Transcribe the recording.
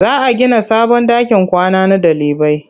Za a gina sabon ɗakin kwana na ɗalibai.